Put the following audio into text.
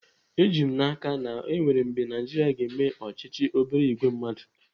Ejighị m n'aka na enwere mgbe Naijiria ga-eme ọchịchị obere ìgwè mmadụ.